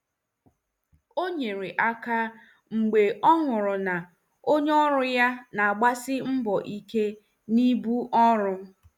O nyere aka mgbe ọ hụrụ na onye ọrụ ya na-agbasi mbọ ike na ibu ọrụ.